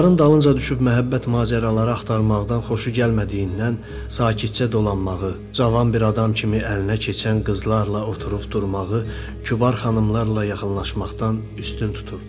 Qadınların dalınca düşüb məhəbbət macəraları axtarmaqdan xoşu gəlmədiyindən sakitcə dolanmağı, cavan bir adam kimi əlinə keçən qızlarla oturub durmağı, kübar xanımlarla yaxınlaşmaqdan üstün tuturdu.